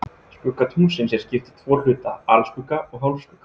Skugga tunglsins er skipt í tvo hluta, alskugga og hálfskugga.